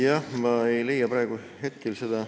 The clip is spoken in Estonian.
Jah, ma ei leia praegu hetkel seda ...